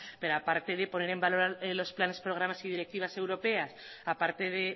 pero a parte de poner en valor los planes programas y directivas europeas a parte de